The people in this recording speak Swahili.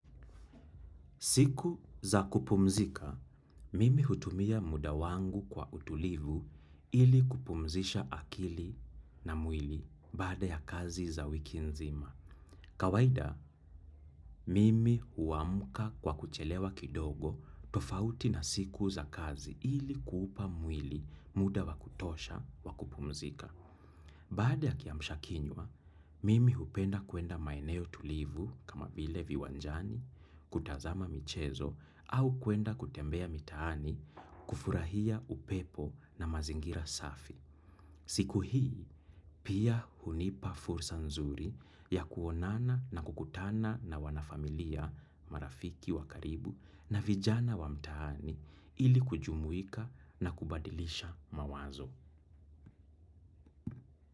Siku za kupumzika, mimi hutumia muda wangu kwa utulivu ili kupumzisha akili na mwili baada ya kazi za wiki nzima. Kawaida, mimi huamka kwa kuchelewa kidogo tofauti na siku za kazi ili kuupa mwili muda wa kutosha wa kupumzika. Baada ya kiamshakinywa, mimi hupenda kuenda maeneo tulivu kama vile viwanjani, kutazama michezo, au kwenda kutembea mitaani kufurahia upepo na mazingira safi. Siku hii, pia hunipa fursa nzuri ya kuonana na kukutana na wanafamilia marafiki wakaribu na vijana wa mtaani ili kujumuika na kubadilisha mawazo.